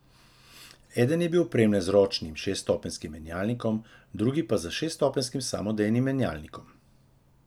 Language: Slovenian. Eden je bil opremljen z ročnim šeststopenjskim menjalnikom, drugi pa s šeststopenjskim samodejnim menjalnikom.